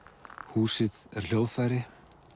húsið er hljóðfæri